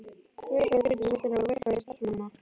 Velferð fyrirtækis veltur á velferð starfsmannanna.